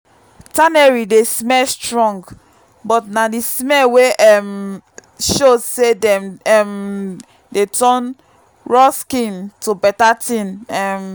tannery dey smell strong but na the smell wey um show say dem um dey turn raw skin to better thing. um